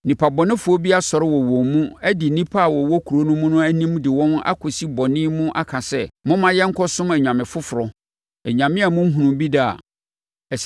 nnipa bɔnefoɔ bi asɔre wɔ wɔn mu adi nnipa a wɔwɔ kuro no mu anim de wɔn akɔsi bɔne mu aka sɛ, “Momma yɛnkɔsom anyame foforɔ,” anyame a monhunuu bi da a,